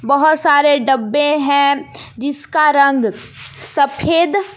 बहोत सारे डब्बे हैं जिसका रंग सफेद--